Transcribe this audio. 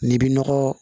N'i bi nɔgɔ